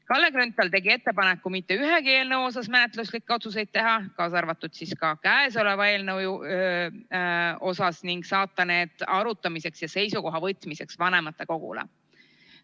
Kalle Grünthal tegi ettepaneku mitte ühegi eelnõu kohta menetluslikke otsuseid teha, kaasa arvatud kõnesoleva eelnõu kohta, ning saata need arutamiseks ja seisukoha võtmiseks vanematekogule.